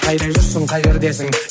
қайда жүрсің қай жердесің